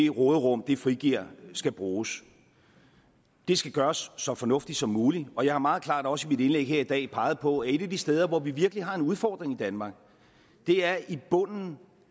råderum det frigiver skal bruges det skal gøres så fornuftigt som muligt og jeg har meget klart også i mit indlæg her i dag peget på at et af de steder hvor vi virkelig har en udfordring i danmark er i bunden